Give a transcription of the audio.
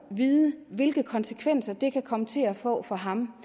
vide hvilke konsekvenser det kan komme til at få for ham